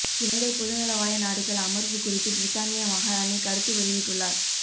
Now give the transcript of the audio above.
இலங்கை பொதுநலவாய நாடுகள் அமர்வு குறித்து பிரித்தானிய மஹாராணி கருத்து வெளியிட்டுள்ளார்